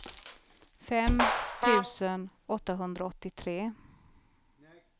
fem tusen åttahundraåttiotre